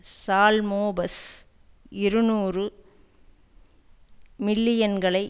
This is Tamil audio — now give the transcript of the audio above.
சால்மோபஸ் இருநூறு மில்லியன்களை